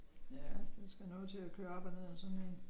Ja der skal noget til at køre op og ned ad sådan en